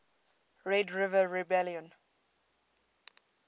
red river rebellion